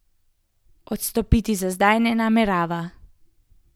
Odstopiti za zdaj ne namerava.